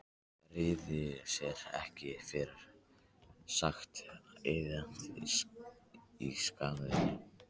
Hann réði sér ekki fyrir kæti og iðaði í skinninu.